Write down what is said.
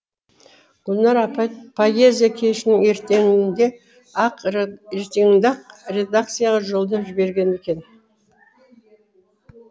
гүлнар апай поэзия кешінің ертеңінде ақ редакцияға жолдап жіберген екен